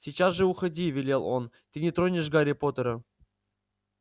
сейчас же уходи велел он ты не тронешь гарри поттера